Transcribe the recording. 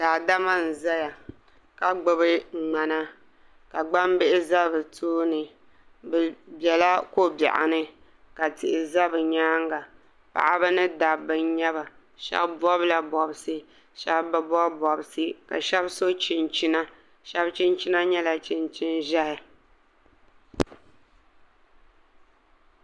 Daadama n ʒɛya ka gbubi ŋmana ka gbambihi ʒɛ bi tooni bi biɛla ko biɛɣu ni ka tihi ʒɛ bi nyaanga paɣaba ni dabba n nyɛba shab bobla bobsi shab bi bob bobsi ka shab so chinchina shab chinchina nyɛla chinchin ʒiɛhi